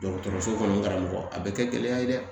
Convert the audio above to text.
Dɔgɔtɔrɔso kɔnɔ karamɔgɔ a bɛ kɛ gɛlɛya ye dɛ